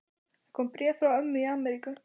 Það kom bréf frá ömmu í Ameríku.